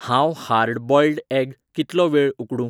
हांव hard boiled egg कितलो वेळ उकडूं?